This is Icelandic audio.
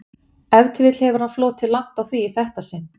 Ef til vill hefur hann flotið langt á því í þetta sinn.